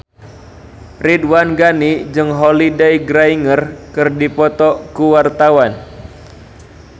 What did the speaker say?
Ridwan Ghani jeung Holliday Grainger keur dipoto ku wartawan